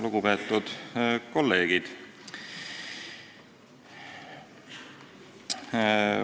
Lugupeetud kolleegid!